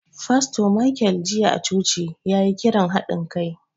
Fasto Michael jiya a coci, ya yi kiran haɗin kai.